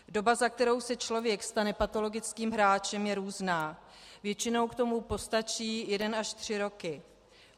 Doba, za kterou se člověk stane patologickým hráčem je různá, většinou k tomu postačí jeden až tři roky.